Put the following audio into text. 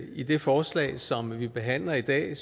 i det forslag som vi behandler i dag